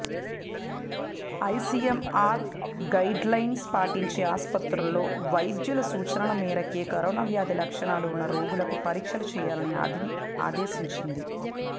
ICMR guidelines పాటించే ఆస్పత్రుల్లో వైద్యల సూచనల మేరకే కరోనా వ్యాధి లక్షణాలు ఉన్న రోగులకు పరీక్షలు చేయాలని ఆదేశించింది